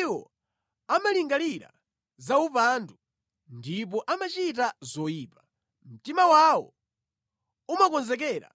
Iwo amalingalira zaupandu ndipo amachita zoyipa; mtima wawo umakonzekera